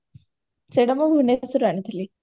ସେଇଟା ମୁଁ ଭୁବନେଶ୍ବରରୁ ଆଣିଥିଲି